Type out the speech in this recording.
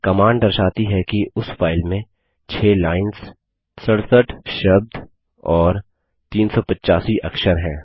command दर्शाती है कि उस फाइल में 6 लाइन्स 67 शब्द और 385 अक्षर हैं